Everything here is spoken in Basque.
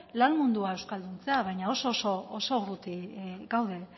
lan mundua euskalduntzea baina oso oso urruti gaude